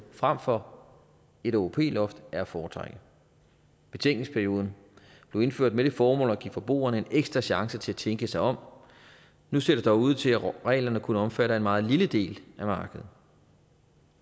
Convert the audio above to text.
frem for et åop loft er at foretrække betænkningsperioden blev indført med det formål at give forbrugerne en ekstra chance til at tænke sig om nu ser det dog ud til at reglerne kun omfatter en meget lille del af markedet